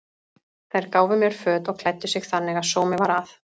Þær gáfu mér föt og klæddu mig þannig að sómi var að.